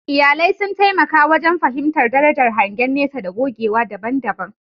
Iyalai sun taimaka wajen fahimtar darajar hangen nesa da gogewa daban-daban.